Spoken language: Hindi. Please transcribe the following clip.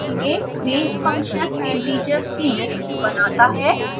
range फंक्शन integers की लिस्ट बनाता है